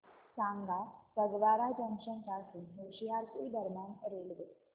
सांगा फगवारा जंक्शन पासून होशियारपुर दरम्यान रेल्वे